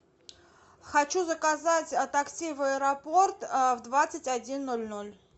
хочу заказать такси в аэропорт в двадцать один ноль ноль